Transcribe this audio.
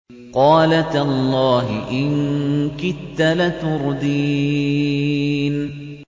قَالَ تَاللَّهِ إِن كِدتَّ لَتُرْدِينِ